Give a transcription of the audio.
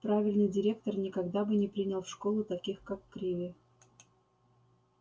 правильный директор никогда бы не принял в школу таких как криви